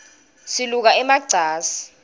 siluka ema cansi